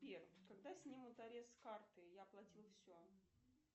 сбер когда снимут арест с карты я оплатил все